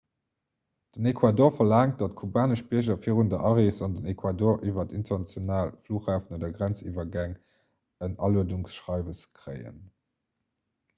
den ecuador verlaangt datt kubanesch bierger virun der arees an den ecuador iwwer international flughäfen oder grenziwwergäng en aluedungsschreiwes kréien